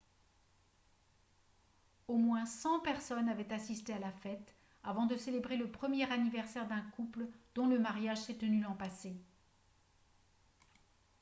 au moins 100 personnes avaient assisté à la fête afin de célébrer le premier anniversaire d'un couple dont le mariage s'est tenu l'an passé